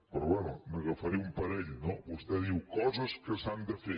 però bé n’agafaré un parell no vostè diu coses que s’han de fer